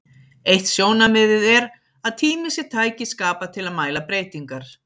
Eitt sjónarmiðið er að tími sé tæki skapað til að mæla breytingar.